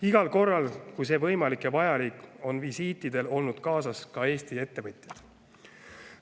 Igal korral, kui see võimalik ja vajalik, on visiitidel olnud kaasas ka Eesti ettevõtjad.